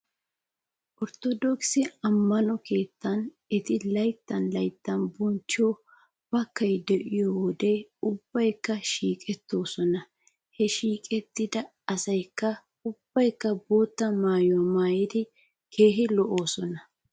Orttodookise ammano keettan eti layttan layttan bonchchiyoo baakay de'iyoode ubbaykka shiiqettoosona. He shiiqettida asaykaa ubbaykka bootta maayuwaa maayidi keehi lo'oosona.